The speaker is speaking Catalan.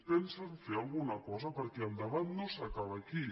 pensen fer alguna cosa perquè el debat no s’acaba aquí